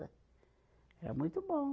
Era muito bom.